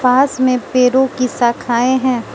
पास में पेरो की शाखाएं हैं।